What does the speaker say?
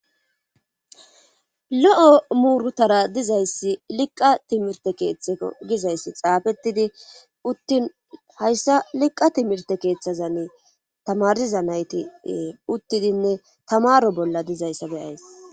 Lo7o muurutara dizayssi liqqa timirte keeththeo gizayssi xaafettidi uttin hayssa liqqa timirte keeththazan tamariza nayti uttidinne tamaro bolla dizayssa beyays.